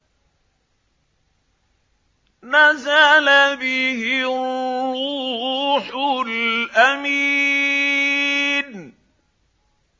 نَزَلَ بِهِ الرُّوحُ الْأَمِينُ